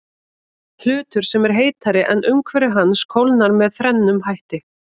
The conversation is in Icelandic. Hlutur sem er heitari en umhverfi hans kólnar með þrennum hætti.